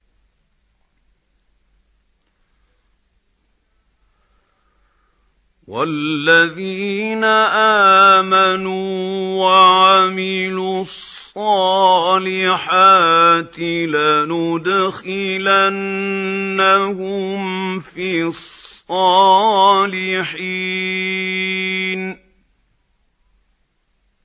وَالَّذِينَ آمَنُوا وَعَمِلُوا الصَّالِحَاتِ لَنُدْخِلَنَّهُمْ فِي الصَّالِحِينَ